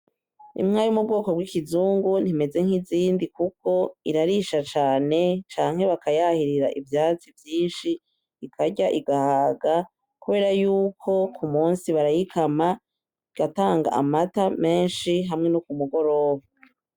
Inka yo mubwoko bw'ikizungu ,ntimeze nkizindi kuko irarisha cane ,canke bakayahirira ivyatsi vyinshi ikarya igahaga kubera yuko kumunsi barayikama igatanga amata menshi hamwe no kumugoroba .